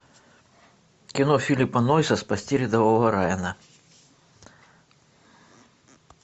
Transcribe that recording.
кино филиппа нойса спасти рядового райана